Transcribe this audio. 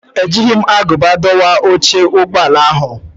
Ejighị m agụba dọwa oche ụgbọ ala ahụ.